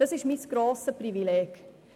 Dies ist mein grosses Privileg.